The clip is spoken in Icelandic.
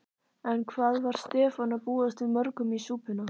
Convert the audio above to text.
En hvað var Stefán að búast við mörgum í súpuna?